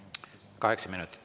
Kaheksa minutit.